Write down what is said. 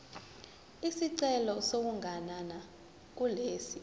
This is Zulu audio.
isicelo sokuganana kulesi